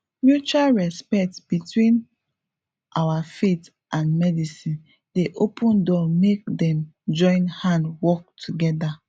mutual respect between our faith and medicine dey open door make dem join hand work together